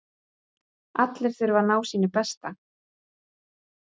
Allir þurfa að ná sínu besta